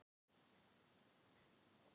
una, hún var að verða fimm.